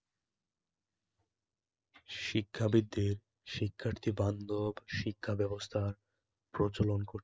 শিক্ষাবিদদের শিক্ষার্থী বান্দব শিক্ষাব্যবস্থা প্রচলন করতে